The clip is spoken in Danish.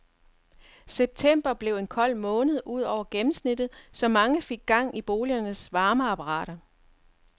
September blev en kold måned ud over gennemsnittet, så mange fik gang i boligernes varmeapparater.